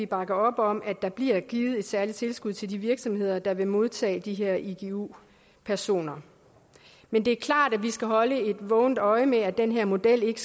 bakke op om at der bliver givet et særligt tilskud til de virksomheder der vil modtage de her igu personer men det er klart at vi skal holde et vågent øje med at den her model ikke